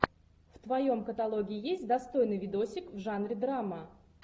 в твоем каталоге есть достойный видосик в жанре драма